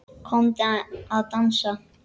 Komdu að dansa